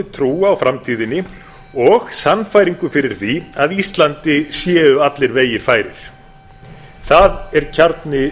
trú á framtíðinni og sannfæringu fyrir því að íslandi séu allir vegir færir fast er kjarni